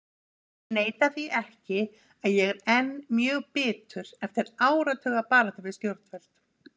Ég neita því ekki að ég er enn mjög bitur eftir áratuga baráttu við stjórnvöld.